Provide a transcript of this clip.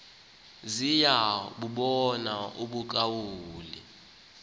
ziya bubona ubuqaqawuli